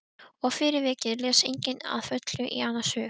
Og fyrir vikið les enginn að fullu í annars hug.